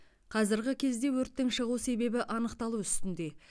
қазіргі кезде өрттің шығу себебі анықталу үстінде